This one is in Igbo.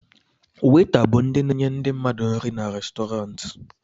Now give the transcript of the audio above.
Weta bụ ndị na-enye ndị mmadụ nri n'Restọrantị